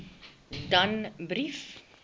danbrief